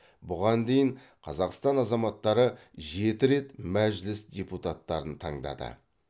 бұған дейін қазақстан азаматтары жеті рет мәжіліс депуттарын таңдады